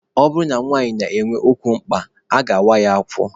Ọ bụrụ na nwanyị na-enwe ukwu mkpa, a ga-awa ya afọ.